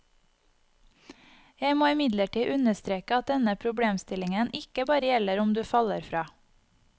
Jeg må imidlertid understreke at denne problemstillingen ikke bare gjelder om du faller fra.